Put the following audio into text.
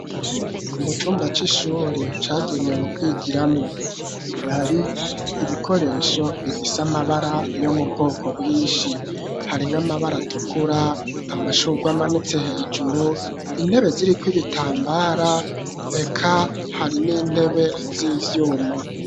Mu cumba c'ishure cagenewe kwigiramwo ,hari ibikoresho bifise amabara yo mubwoko bwinshi hari nk'amabara atukura amashurwamanitse hejuru intebe ziri kw'ibitambara ek hari n'intebe z'ivyuma.